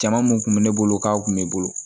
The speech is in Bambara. Jama mun kun bɛ ne bolo k'a kun bɛ bolo